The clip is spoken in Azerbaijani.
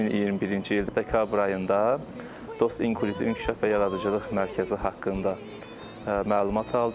2021-ci il dekabr ayında Dost İnklüziv İnkişaf və Yaradıcılıq Mərkəzi haqqında məlumat aldım.